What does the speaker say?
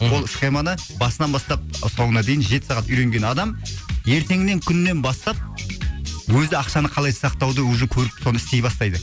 мхм ол схеманы басынан бастап соңына дейін жеті сағат үйренген адам ертеңнен күннен бастап өзі ақшаны қалай сақтауды уже көріп соны істей бастайды